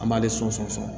An b'ale sɔnsɔn